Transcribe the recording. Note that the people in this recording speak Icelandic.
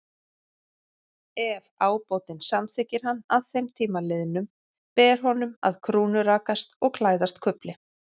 Ef ábótinn samþykkir hann að þeim tíma liðnum, ber honum að krúnurakast og klæðast kufli.